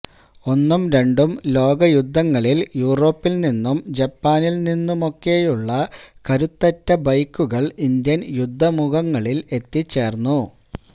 ഒന്നും രണ്ടും ലോകയുദ്ധങ്ങളില് യൂറോപ്പില് നിന്നും ജപ്പാനില് നിന്നുമൊക്കെയുള്ള കരുത്തുറ്റ ബൈക്കുകള് ഇന്ത്യന് യുദ്ധമുഖങ്ങളില് എത്തിച്ചേര്ന്നു